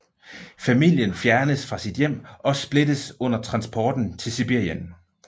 Familien fjernes fra sit hjem og splittes under transporten til Sibirien